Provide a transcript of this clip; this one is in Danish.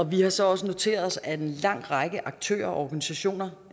vi har så også noteret os at en lang række aktører og organisationer